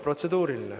Protseduuriline.